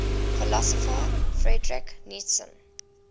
philosopher friedrich nietzsche